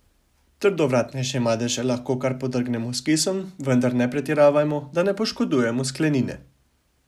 Trdovratnejše madeže lahko kar podrgnemo s kisom, vendar ne pretiravajmo, da ne poškodujemo sklenine.